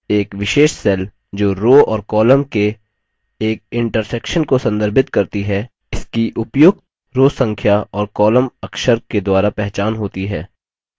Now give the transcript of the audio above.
एक विशेष cell जो row और column के एक इन्टर्सेक्शन को संदर्भित करती है इसकी उपयुक्त row संख्या और column अक्षर के द्वारा पहचान होती है